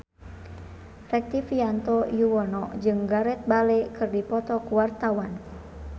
Rektivianto Yoewono jeung Gareth Bale keur dipoto ku wartawan